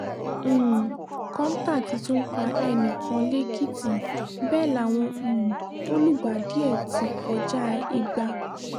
um kọ́ńtà ti tún pa ẹnì kan lẹ́kìtì bẹ́ẹ̀ láwọn um tó lùgbàdì ẹ̀ ti kọjá igba